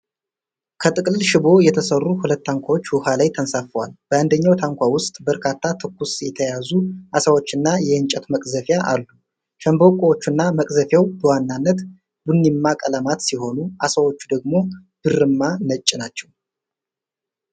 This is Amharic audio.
ከጥቅልል ሸምበቆ የተሠሩ ሁለት ታንኳዎች ውሀ ላይ ተንሳፍፈዋል። በአንደኛው ታንኳ ውስጥ በርካታ ትኩስ የተያዙ ዓሣዎችና የእንጨት መቅዘፊያ አሉ። ሸምበቆቹና መቅዘፊያው በዋናነት ቡኒማ ቀለማት ሲሆኑ፣ ዓሣዎቹ ደግሞ ብርማ ነጭ ናቸው።